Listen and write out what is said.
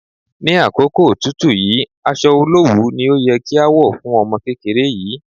Ní àkókò òtútù yìí, aṣọ olowu ni ó yẹ kí a wọ̀ fún ọmọ kékeré yìí.